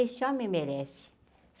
Esse homem merece.